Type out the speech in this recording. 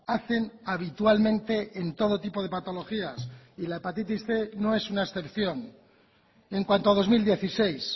hacen habitualmente en todo tipo de patologías y la hepatitis cien no es una excepción en cuanto a dos mil dieciséis